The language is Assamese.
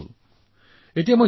জনয়তি লোকস্য লোচন আনন্দম